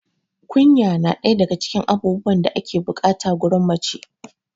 kunya na ɗaya daga abubuwan da ake bukata gurin mace